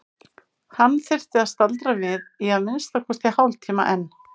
Hann þyrfti að staldra við í að minnsta kosti hálftíma enn.